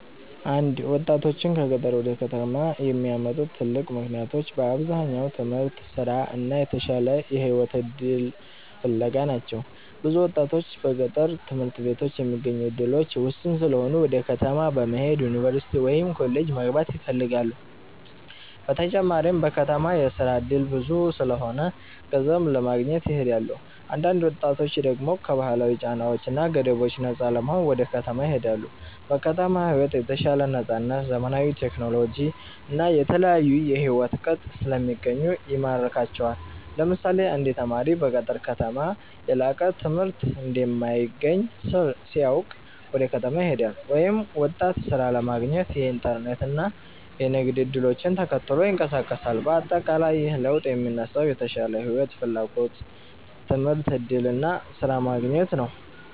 1ወጣቶችን ከገጠር ወደ ከተማ የሚያመጡ ትልቅ ምክንያቶች በአብዛኛው ትምህርት፣ ስራ እና የተሻለ የህይወት እድል ፍለጋ ናቸው። ብዙ ወጣቶች በገጠር ትምህርት ቤቶች የሚገኙ እድሎች ውስን ስለሆኑ ወደ ከተማ በመሄድ ዩኒቨርሲቲ ወይም ኮሌጅ መግባት ይፈልጋሉ። በተጨማሪም በከተማ የስራ እድል ብዙ ስለሆነ ገንዘብ ለማግኘት ይሄዳሉ። አንዳንድ ወጣቶች ደግሞ ከባህላዊ ጫናዎች እና ገደቦች ነፃ ለመሆን ወደ ከተማ ይሄዳሉ። በከተማ ሕይወት የተሻለ ነፃነት፣ ዘመናዊ ቴክኖሎጂ እና የተለያዩ የሕይወት ቅጥ ስለሚገኙ ይማርካቸዋል። ለምሳሌ አንድ ተማሪ በገጠር ከተማ የላቀ ትምህርት እንደማይገኝ ሲያውቅ ወደ ከተማ ይሄዳል፤ ወይም ወጣት ሥራ ለማግኘት የኢንተርኔት እና የንግድ እድሎችን ተከትሎ ይንቀሳቀሳል። በአጠቃላይ ይህ ለውጥ የሚነሳው የተሻለ ሕይወት ፍላጎት፣ ትምህርት እድል እና ስራ ማግኘት ነው።